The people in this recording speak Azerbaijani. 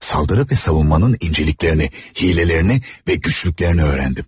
Saldırı ve savunmanın incəliklərini, hilələrini və güclüklərini öyrəndim.